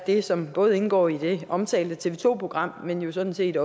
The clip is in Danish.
det som både indgår i det omtalte tv to program men jo sådan set